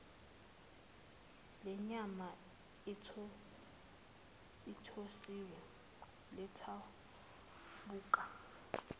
lenyama ethosiwe lithaphuka